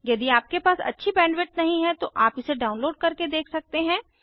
यदि आपके पास अच्छी बैंडविड्थ नहीं है तो आप इसे डाउनलोड करके देख सकते हैं